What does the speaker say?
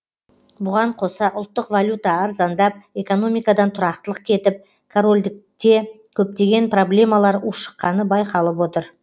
бұған қоса ұлттық валюта арзандап экономикадан тұрақтылық кетіп корольдікте көптеген проблемалар ушықққаны байқалып отыр